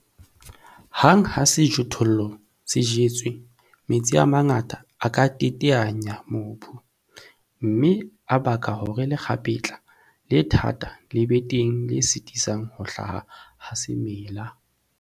Hang ha sejothollo se jetswe, metsi a mangata a pula a ka teteanya mobu, mme a baka hore lekgapetla le thata le be teng le sitisang ho hlaha ha semela.